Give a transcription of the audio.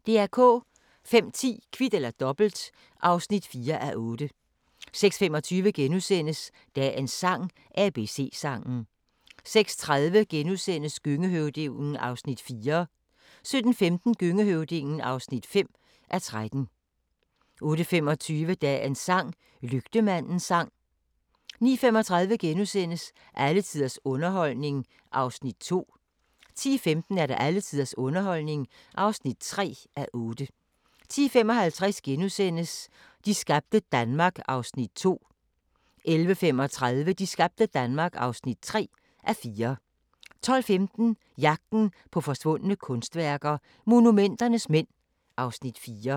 05:10: Kvit eller Dobbelt (4:8) 06:25: Dagens sang: ABC-sangen * 06:30: Gøngehøvdingen (4:13)* 07:15: Gøngehøvdingen (5:13) 08:25: Dagens sang: Lygtemandens sang 09:35: Alle tiders underholdning (2:8)* 10:15: Alle tiders underholdning (3:8) 10:55: De skabte Danmark (2:4)* 11:35: De skabte Danmark (3:4) 12:15: Jagten på forsvundne kunstværker – Monumenternes mænd (Afs. 4)